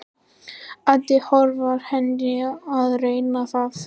Edda lofar henni að reyna það.